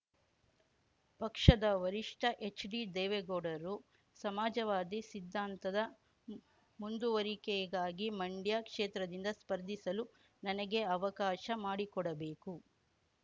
ಪಕ್ಷದ ವರಿಷ್ಠ ಎಚ್ಡಿ ದೇವೇಗೌಡರು ಸಮಾಜವಾದಿ ಸಿದ್ದಾಂತದ ಮುಂದುವರಿಕೆಗಾಗಿ ಮಂಡ್ಯ ಕ್ಷೇತ್ರದಿಂದ ಸ್ಪರ್ಧಿಸಲು ನನಗೆ ಅವಕಾಶ ಮಾಡಿಕೊಡಬೇಕು